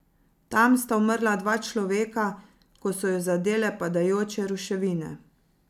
Tam sta umrla dva človeka, ko so ju zadele padajoče ruševine.